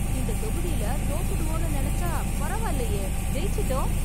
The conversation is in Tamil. இந்த தொகுதில தோற்றுடுவோம்னு நினைச்சா பரவாயில்லையே, ஜெயிச்சிட்டோம்